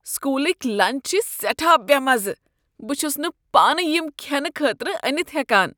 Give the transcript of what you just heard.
سکوٗلٕکۍ lunch چھ سیٹھاہ بےٚ مزٕہ، بہٕ چھُس نہٕ پان یَم كھٮ۪نہٕ خٲطرٕ أنتھ ہیكان۔